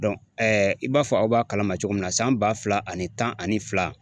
i b'a fɔ aw b'a kalama cogo min na san ba fila ani tan ani fila